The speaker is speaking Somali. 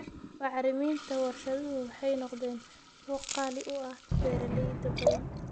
Bacriminta warshaduhu waxay noqdeen kuwo qaali u ah beeralay badan.